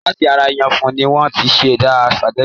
Láti ara ìyẹ̀fún ni wọ́n ti ṣẹ̀dá sìpàgẹ́tì.